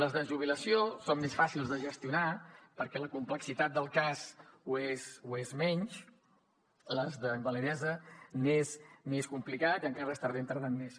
les de jubilació són més fàcils de gestionar perquè la complexitat del cas ho és menys les d’invalidesa és més complicat i encara estem tardant més